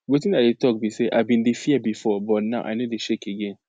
wetin i dey talk be say i bin dey fear before but now i no dey shake again